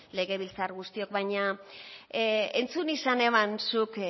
legebiltzarkide guztiok baina entzun izan neban zuk